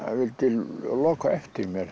vildi loka á eftir mér